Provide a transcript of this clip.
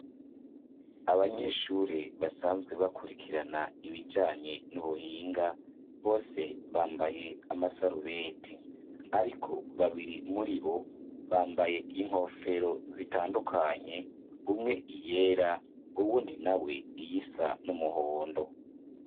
Abanyeshure basanzwe bakurikirana ibijanye n'ubuhinga, bose bambaye amasarubete, ariko babiri muribo bambaye inkofero zitandukanye, umwe iyera, uwundi nawe iyisa n'umuhondo.